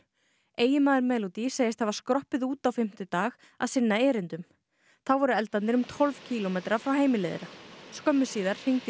eiginmaður Melody segist hafa skroppið út á fimmtudag að sinna erindum þá voru eldarnir um tólf kílómetra frá heimili þeirra skömmu síðar hringdi